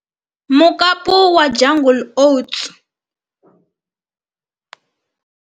Mukapu wa jungle oats.